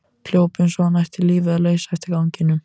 Hljóp eins og hann ætti lífið að leysa eftir ganginum.